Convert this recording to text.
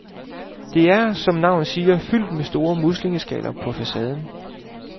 Det er, som navnet siger, fyldt med store muslingeskaller på facaden.